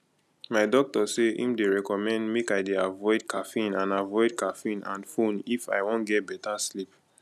my doctor say im dey recommend make i dey avoide caffeine and avoide caffeine and phone if i wan get better sleep